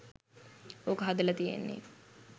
ඕක හදල තියෙන්නෙ.